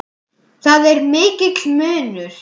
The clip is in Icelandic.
Þar er mikill munur.